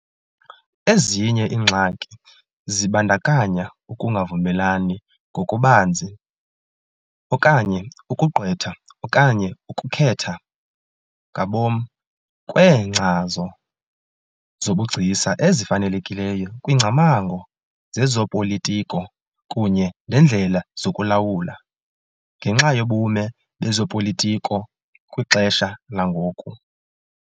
Ezinye iingxaki zibandakanya ukungavumelani ngokubanzi okanye " ukugqwetha okanye ukukhetha " ngabom kweenkcazo zobugcisa ezifanelekileyo kwiingcamango zezopolitiko kunye neendlela zokulawula, ngenxa yobume bezopolitiko kwixesha langoku.